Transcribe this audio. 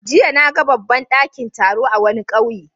Jiya na ga babban dakin taro a wani kauye.